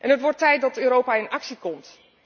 Het wordt tijd dat Europa in actie komt.